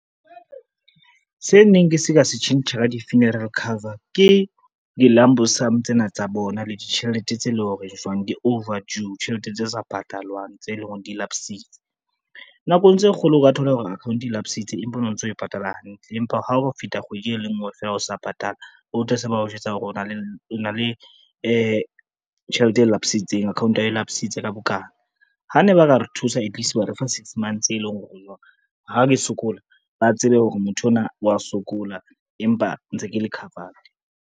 Se neng ke se ka se tjhentjha ka di-funeral cover ke di-lump sum tsena tsa bona le ditjhelete tse leng hore jwang di-over due, tjhelete tse sa patalwang tse leng hore di-lapse-itse. Nakong tse kgolo o ka thola hore account lapse-itse empa o no ntso o e patala hantle, empa ha o feta kgwedi e lenngwe fela o sa patala utlwe se ba o jwetsa hore o na le tjhelete e lapse-itseng, account ya hao e lapse-itse ka bokana, ha ne ba ka re thusa atleast ba refa six months e leng hore o jwang, ha ke sokola, ba tsebe hore motho enwa wa sokola, empa ntse ke le covered.